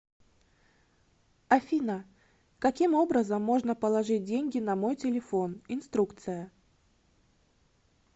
афина каким образом можно положить деньги на мой телефон инструкция